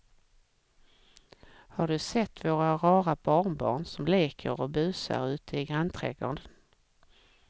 Har du sett våra rara barnbarn som leker och busar ute i grannträdgården!